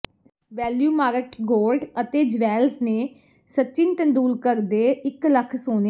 ValueMart gold ਅਤੇ jewels ਨੇ ਸਚਿਨ ਤੇਂਦੁਲਕਰ ਦੇ ਇਕ ਲੱਖ ਸੋਨੇ